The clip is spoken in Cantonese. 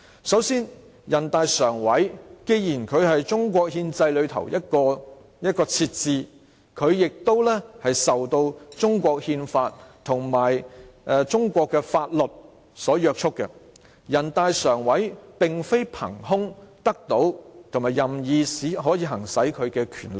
首先，人大常委會既然是中國憲制中的設置，它亦受到中國憲法和中國的法律所約束，人大常委會並非憑空得到和可以任意行使其權力。